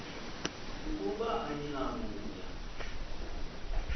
ukuba anina kuya